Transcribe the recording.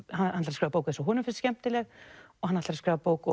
að skrifa bók sem honum finnst skemmtileg hann ætlar að skrifa bók